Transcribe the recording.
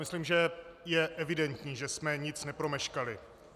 Myslím, že je evidentní, že jsme nic nepromeškali.